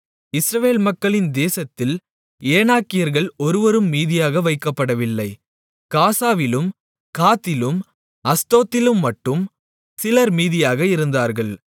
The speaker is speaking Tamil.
இஸ்ரவேல் மக்களின் தேசத்தில் ஏனாக்கியர்கள் ஒருவரும் மீதியாக வைக்கப்படவில்லை காசாவிலும் காத்திலும் அஸ்தோத்திலும்மட்டும் சிலர் மீதியாக இருந்தார்கள்